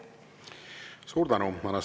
Suur tänu!